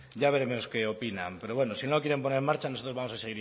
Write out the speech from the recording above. ya veremos qué opinan pero bueno si no quieren poner en marcha nosotros vamos a